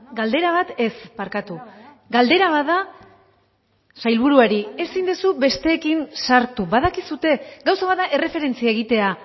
galdera bat ez barkatu galdera bat da sailburuari ezin duzu besteekin sartu badakizue gauza bat da erreferentzia egitea